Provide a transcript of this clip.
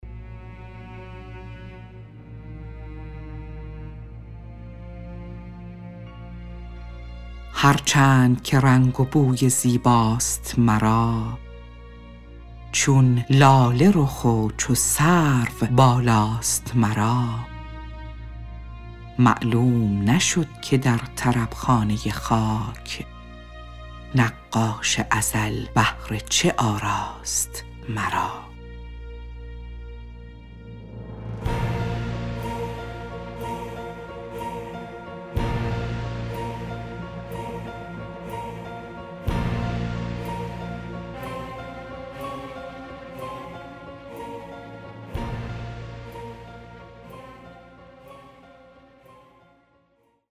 هر چند که رنگ و بوی زیباست مرا چون لاله رخ و چو سرو بالاست مرا معلوم نشد که در طرب خانه خاک نقاش ازل بهر چه آراست مرا